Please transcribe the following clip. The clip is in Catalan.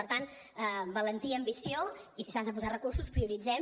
per tant valentia ambició i si s’ha de posar recursos prioritzem